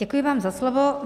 Děkuji vám za slovo.